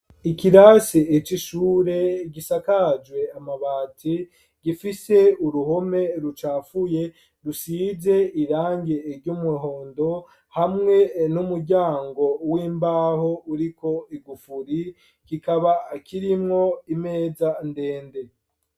Ikirasi c'ishure gishakajwe n'amabati gifise uruhome rucafuye rusize irangi ry'umuhondo hamwe n'umuryango w'imbaho uriko igufuri rikaba kirimwo imeza ndende.